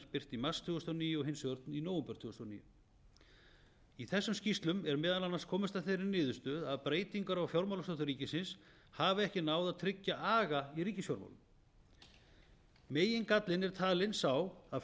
birt í mars tvö þúsund og níu og hins vegar í nóvember tvö þúsund og níu í þessum skýrslum er meðal annars komist að þeirri niðurstöðu að breytingar á fjármálastjórn ríkisins hafi ekki náð að tryggja aga í ríkisfjármálum megingallinn er talinn sá að